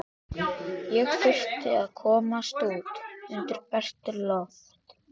Ég þurfti að komast út undir bert loft.